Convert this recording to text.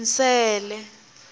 nsele